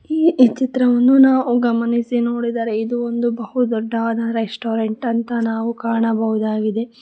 ಈ ಈ ಚಿತ್ರವನ್ನು ನಾವು ಗಮನಿಸಿ ನೋಡಿದರೆ ಇದು ಒಂದು ಬಹು ದೊಡ್ಡವಾದ ರೆಸ್ಟೋರೆಂಟ್ ಅಂತ ನಾವು ಕಾಣಬಹುದಾಗಿದೆ.